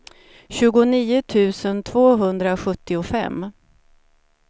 tjugonio tusen tvåhundrasjuttiofem